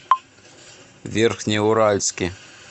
верхнеуральске